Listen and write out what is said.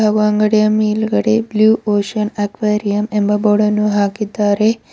ಹಾಗು ಅಂಗಡಿಯ ಮೇಲ್ಗಡೆ ಬ್ಲೂ ಒಸಿಯನ್ ಅಕ್ವೇರಿಯಂ ಎಂಬ ಬೋರ್ಡನ್ನು ಹಾಕಿದ್ದಾರೆ.